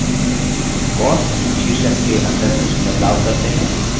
cost शीर्षक के अंदर कुछ बदलाव करते हैं